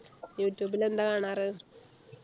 യുട്യൂബിൽ എന്താ കാണാറ്